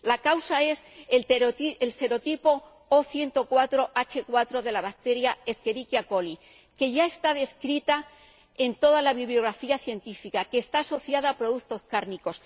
La causa es el serotipo O104H4 de la bacteria Escherichia coli que ya está descrita en toda la bibliografía científica y está asociada a productos cárnicos.